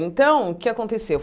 Então, o que aconteceu?